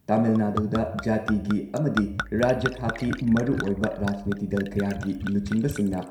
ꯇꯥꯃꯤꯜ ꯅꯥꯗꯨꯗ ꯖꯥꯇꯤꯒꯤ ꯑꯃꯗꯤ ꯔꯥꯖ꯭ꯌ ꯊꯥꯛꯀꯤ ꯃꯔꯨꯑꯣꯏꯕ ꯔꯥꯖꯅꯤꯇꯤ ꯗꯜ ꯀꯌꯥꯒꯤ ꯂꯨꯆꯤꯡꯕꯁꯤꯡꯅ